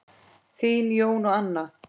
Þín, Jón og Anna.